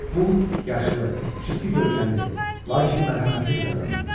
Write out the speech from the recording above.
Bu yaşlı, ciddi görkəmli, lakin mərhəmətli bir adam idi.